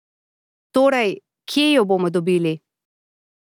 Torej, kje jo bomo dobili?